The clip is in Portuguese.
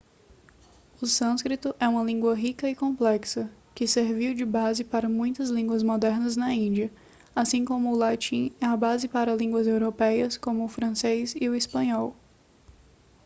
o sânscrito é uma língua rica e complexa que serviu de base para muitas línguas modernas da índia assim como o latim é a base para línguas europeias como o francês e o espanhol